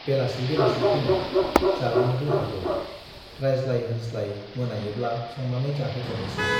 बेलासि बेलासि फैनाय, जालांनोबो हागौ, रायज्लाय - होनज्लाय मोनायोब्ला संनानै जाहोहरनोसै ।